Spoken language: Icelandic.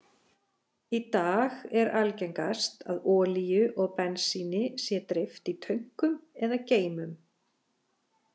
Í dag er algengast er að olíu og bensíni sé dreift í tönkum eða geymum.